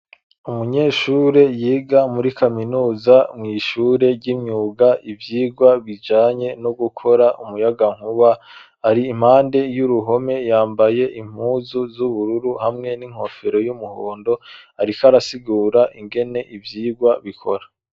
Umunyeshure, yiga muri kaminuza, mw'ishure ry'imyuga, ivyigwa bijanye, no gukora, umuyagankuba, ari impande y'uruhome, yambaye impuzu, z'ubururu, hamwe n'inkofero, y'umuhondo; ariko arasigura, ingene ivyigwa bikora.